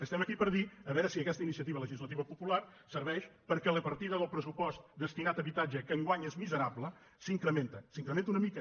estem aquí per dir a veure si aquesta iniciativa legislativa popular serveix perquè la partida del pressupost destinat a habitatge que enguany és miserable s’incrementi s’incrementi una mica